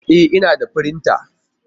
E! Ina da firinta